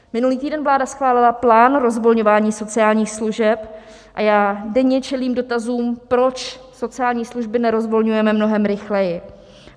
Minulý týden vláda schválila plán rozvolňování sociálních služeb a já denně čelím dotazům, proč sociální služby nerozvolňujeme mnohem rychleji.